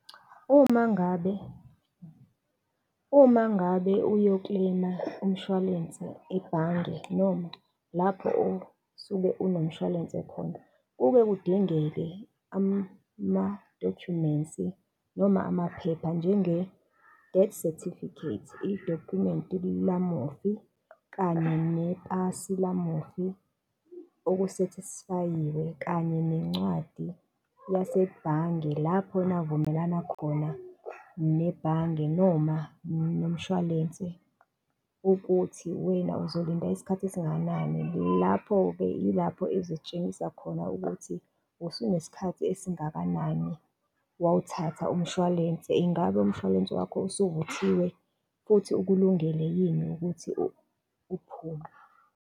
Uma ngabe, uma ngabe uyo-claim-a umshwalense ebhange noma lapho usuke unomshwalense khona, kuke kudinge amadokhumensi noma amaphepha njenge-death certificate, idokhumenti lamufi, kanye nepasi lamufi okusethisifayiwe, kanye nencwadi yasebhange lapho navumelana khona nebhange noma nomshwalense ukuthi wena uzolinda isikhathi esingakanani. Lapho-ke yilapho ezotshengisa khona ukuthi, usunesikhathi esingakanani wawuthatha umshwalense, ingabe umshwalense wakho usuvuthiwe futhi ukulungele yini ukuthi uphume.